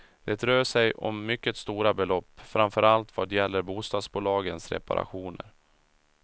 Det rör sig om mycket stora belopp, framför allt vad gäller bostadsbolagens reparationer.